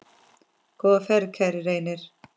Góða ferð, kæri Reynir.